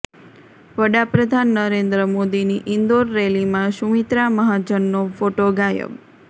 વડાપ્રધાન નરેન્દ્ર મોદીની ઈન્દોર રેલીમાં સુમિત્રા મહાજનનો ફોટો ગાયબ